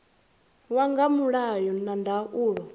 ya nga mulayo na ndaulo